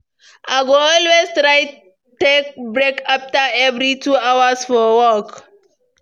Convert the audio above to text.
I go always try take break after every two hours for work.